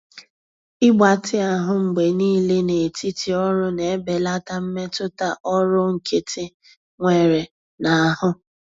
Ịgbatị ahụ mgbe niile n'etiti ọrụ na-ebelata mmetụta ọrụ nkịtị nwere n'ahụ.